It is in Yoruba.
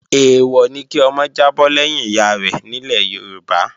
Èèwọ̀ ni kí ọmọ jábọ́ lẹ́yìn ìyárẹ̀ nílẹ̀ Yorùbá